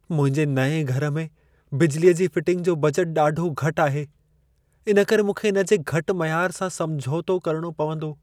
मुंहिंजे नएं घर में बिजलीअ जी फिटिंग जो बजट ॾाढो घटि आहे, इन करे मूंखे इन जे घटि मयार सां समझोतो करणो पवंदो।